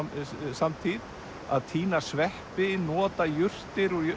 samtíð að tína sveppi nota jurtir